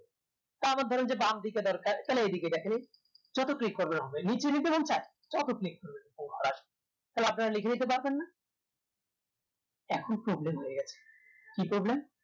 তা আবার ধরেন যে দেন দিকে দরকার তাহলে এই দিকে দেখালেন যত click করবেন হবে নিচে নিয়ে যেতে চান যত click করবেন তত ঘর আসবে থালে আপনারা লিখে নিতে পারবেন না এখন problem হয়ে আছে কি problem